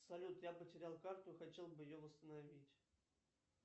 салют я потерял карту хотел бы ее восстановить